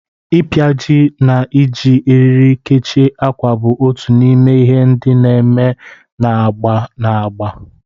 Ịpịaji na iji eriri kechie ákwà bụ otu n'ime ihe ndị a na-eme na agba na agba.